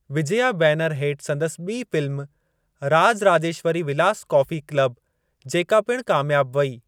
Vijaya banner हेठि संदसि ॿी film, Raj Rajeshwari Vilas coffee club, जेका पिणु कामियाबु वई।